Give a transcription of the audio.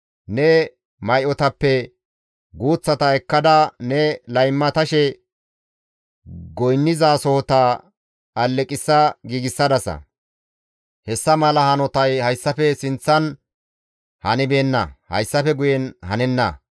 Ne may7otappe guuththata ekkada ne laymatashe goynnizasohota aleqissa giigsadasa; hessa mala hanotay hayssafe sinththan hanibeenna; hayssafe guyenkka hanenna.